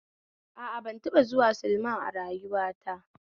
A a, ban taba zuwa silma a rayuwa ta